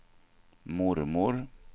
mormor